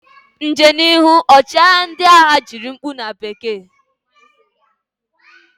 Njem n'ihu! Ọchịagha ndị agha tiri mkpu na bekee.